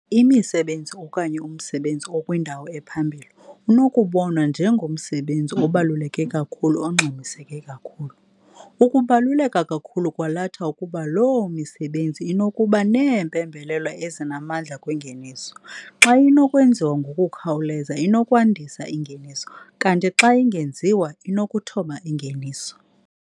Imisebenzi okanye umsebenzi okwindawo ephambili unokubonwa njengomsebenzi obaluleke kakhulu ongxamiseke kakhulu. Ukubaluleka kakhulu kwalatha ukuba loo misebenzi inokuba neempembelelo ezinamandla kwingeniso - xa inokwenziwa ngokukhawuleza inokwandisa ingeniso - kanti xa ingenziwa inokuthoba ingeniso.